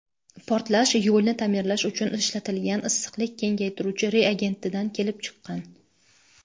portlash yo‘lni ta’mirlash uchun ishlatilgan issiqlik kengaytiruvchi reagentidan kelib chiqqan.